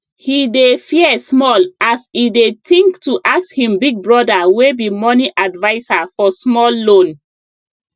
he dey fear small as e dey think to ask him big brother wey be money adviser for small loan